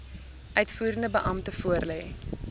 uitvoerende beampte voorlê